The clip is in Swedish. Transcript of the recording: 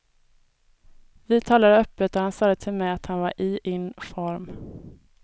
Vi talade öppet och han sade till mig att han var i in form.